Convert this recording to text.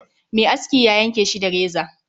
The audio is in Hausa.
Mai askin ya yanke Shi da reza